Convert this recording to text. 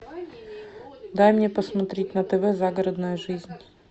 дай мне посмотреть на тв загородная жизнь